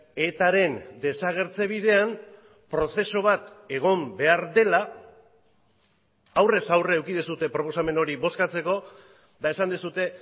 etaren desagertze bidean prozesu bat egon behar dela aurrez aurre eduki duzue proposamen hori bozkatzeko eta esan duzue